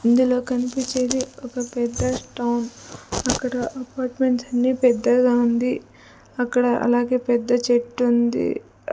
ఇందులో కనిపిచ్చేది ఒక పెద్ద స్టోన్ అక్కడ అపార్ట్మెంట్స్ అన్ని పెద్దగా ఉంది అక్కడ అలాగే పెద్ద చెట్టుంది.